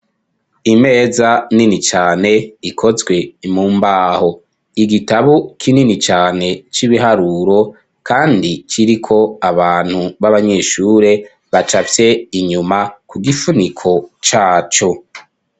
Impeza nini cane ikozwe imumbaho igitabu kinini cane c'ibiharuro kandi kiriko abantu b'abanyeshure bacafye inyuma ku gifuniko caco.